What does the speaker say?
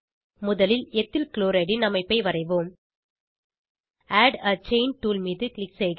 முதலில் ethyl chloride ன் அமைப்பை வரைவோம் ஆட் ஆ செயின் டூல் மீது க்ளிக் செய்க